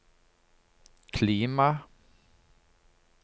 klima